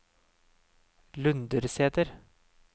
Lundersæter